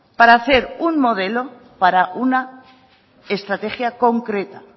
para hacer un modelo para una estrategia concreta